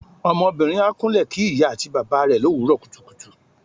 Ọmọbìnrin á kúnle kí ìyá àti bàbá rẹ l'òwúrò kùtùkùtù.